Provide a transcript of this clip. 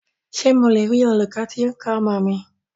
Ṣé mo le rí olūkọ́ tí o ń kọ́ ọmọ mi?